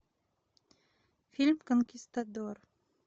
фильм конкистадор